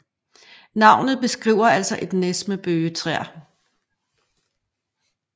Navnet beskriver altså et næs med bøgetræer